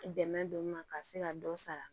Dɛmɛ don ma ka se ka dɔ sara